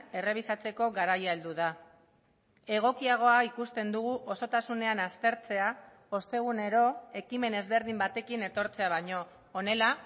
errebisatzeko garaia heldu da egokiagoa ikusten dugu osotasunean aztertzea ostegunero ekimen ezberdin batekin etortzea baino honela